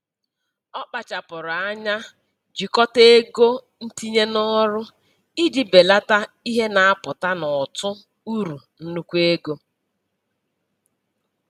Ọ kpachapụrụ anya jikọta ego ntinye n'ọrụ iji belata ihe na-apụta n'ụtụ uru nnukwu ego.